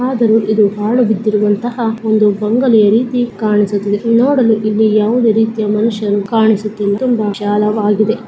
ಆದರೂ ಸಹ ಇದು ಪಾಳು ಬಿದ್ದಿರುವಂತಹ ಒಂದು ಬಂಗಲೆ ಅಂತೆ ಕಾಣುತ್ತಿದೆ ನೋಡಲು ಇಲ್ಲಿ ಯಾವುದೇ ರೀತಿಯ ಮನುಷ್ಯನು ಕಾಣಿಸುತ್ತಿಲ್ಲ ತುಂಬಾ ವಿಶಾಲವಾಗಿದೆ.